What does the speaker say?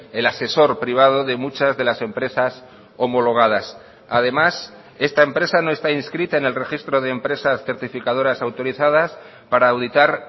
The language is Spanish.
el asesor privado de muchas de las empresas homologadas además esta empresa no está inscrita en el registro de empresas certificadoras autorizadas para auditar